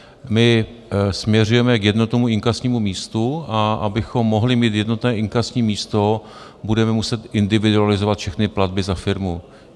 My směřujeme k jednotnému inkasnímu místu, a abychom mohli mít jednotné inkasní místo, budeme muset individualizovat všechny platby za firmu.